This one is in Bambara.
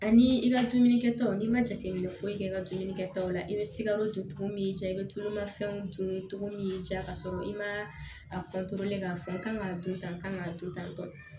Ani i ka dumuni kɛtaw n'i ma jateminɛ foyi kɛ i ka dumunikɛtaw la i bɛ sikaro tomin y'i ja i bɛ tululafɛnw dun cogo min y'i ja k'a sɔrɔ i ma a k'a fɔ n kan k'a dun tan k'a to tan tɔ